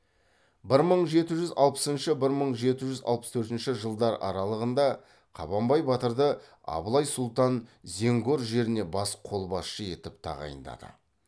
бір мың жеті жүз алпысыншы бір мың жеті жүз алпыс төртінші жылдар аралығында қабанбай батырды абылай сұлтан зенгор жеріне бас қолбасшы етіп тағайындады